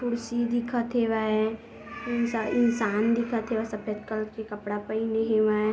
कुर्सी दिखत हेवय इनसे इंसान दिखत हे सफेद कलर के कपड़ा पहिने हेवय।